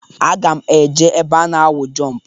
Aga m eje ebe a na-awụ jọmp.